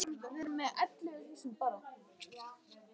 Ég má ekki leyfa mér að hugsa um börnin okkar.